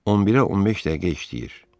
11-ə 15 dəqiqə işləyir.